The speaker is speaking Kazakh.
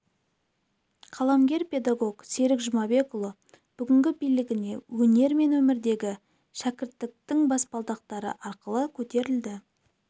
қаламгер-педагог серік жұмабекұлы бүгінгі биігіне өнер мен өмірдегі шәкірттіктің баспалдақтары арқылы көтерілді